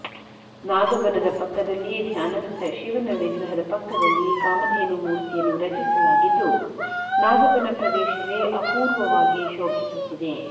ನಾಗ ಬನದ ಪಕ್ಕದಲ್ಲಿ ಧ್ಯಾನಸ್ಥ ಶಿವನ ವಿಗ್ರಹ ಪಕ್ಕದಲ್ಲಿ ಕಾಮಧೇನು ಮೂರ್ತಿಯನ್ನು ರಚಿಸಲಾಗಿದ್ದು ನಾಗಬನ ಪ್ರದೇಶವೇ ಅಪೂರ್ವವಾಗಿ ಶೋಭಿಸುತ್ತಿದೆ